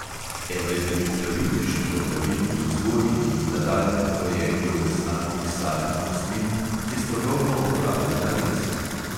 Eno izmed poglavitnejših opravil pri vzgoji in nadaljnjem gojenju lesnatih sadnih rastlin je strokovno opravljena rez.